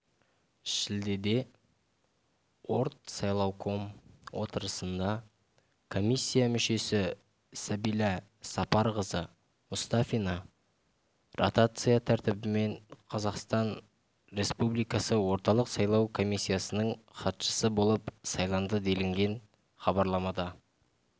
шілдеде ортсайлауком отырысында комиссия мүшесі сәбила сапарқызы мұстафина ротация тәртібімен қазақстан республикасы орталық сайлау комиссиясының хатшысы болып сайланды делінген хабарламада